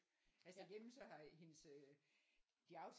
Altså hjemme så har hendes øh de har aftalt